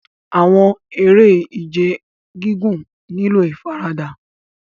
Awọn ere-ije gigun nilo ifarada